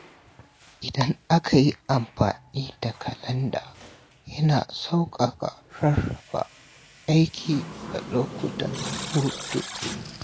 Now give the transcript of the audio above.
Idan aka yi amfani da kalanda, yana sauƙaƙa rarraba aiki da lokutan hutu.